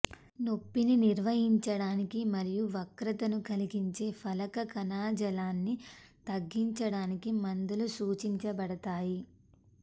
నొప్పిని నిర్వహించడానికి మరియు వక్రతను కలిగించే ఫలక కణజాలాన్ని తగ్గించడానికి మందులు సూచించబడతాయి